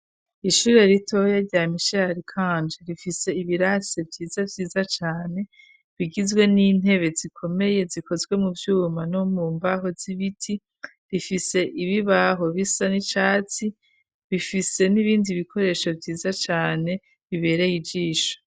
Ishure ritoya rya mishali kanje rifise ibirase vyiza vyiza cane bigizwe n'intebe zikomeye zikozwe mu vyuma no mu mbaho z'ibiti rifise ibibaho bisa n'icatsi bifise n'ibindi bikoresho vyiza cane bibereye ijisha.